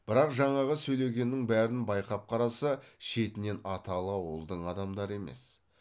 бірақ жаңағы сөйлегеннің бәрін байқап қараса шетінен аталы ауылдың адамдары емес